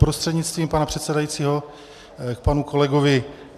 Prostřednictvím pana předsedajícího k panu kolegovi.